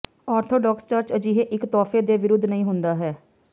orthodox church ਅਜਿਹੇ ਇੱਕ ਤੋਹਫ਼ੇ ਦੇ ਵਿਰੁੱਧ ਨਹੀਂ ਹੁੰਦਾ ਹੈ